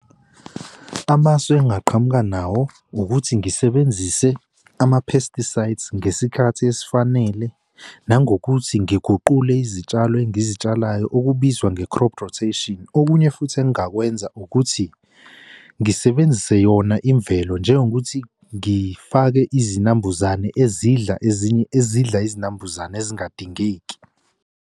Amasu engingaqhamuka nawo ukuthi ngisebenzise ama-pesticides ngesikhathi esifanele nangokuthi ngiguqule izitshalo engizitshalayo okubizwa nge-crop rotation. Okunye futhi engingakwenza ukuthi ngisebenzise yona imvelo njengokuthi ngifake izinambuzane ezidla ezinye ezidla izinambuzane ezingadingeki.